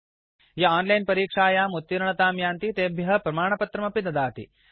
110 001100 001003 ये ओनलाइन् परीक्षायाम् उत्तीर्णतां यान्ति तेभ्य प्रमाणपत्रमपि दीयते